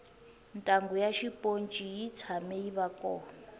ntanghu ya xiponci yi tshame yiva kona